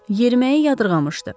Yeriməyi yadırğamışdı.